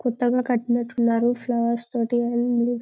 కొత్తగా కట్టినట్టున్నారు ఫ్లవర్స్ తోటి ఇవి--